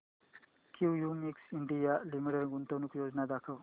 Cummins India limited गुंतवणूक योजना दाखव